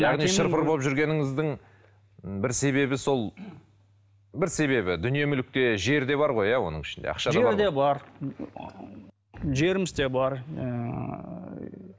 яғни шыр пыр болып жүргеніңіздің м бір себебі сол бір себебі дүние мүлік те жер де бар ғой иә оның ішінде жер де бар жеріміз де бар ыыы